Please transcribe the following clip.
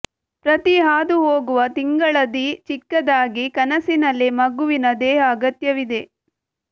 ಪ್ರತಿ ಹಾದುಹೋಗುವ ತಿಂಗಳ ದಿ ಚಿಕ್ಕದಾಗಿ ಕನಸಿನಲ್ಲಿ ಮಗುವಿನ ದೇಹ ಅಗತ್ಯವಿದೆ